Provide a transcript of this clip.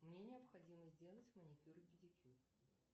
мне необходимо сделать маникюр и педикюр